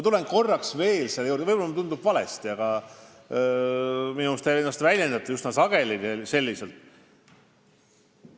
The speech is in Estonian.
Võib-olla mulle tundub valesti, aga minu arust te väljendate ennast üsna sageli selliselt.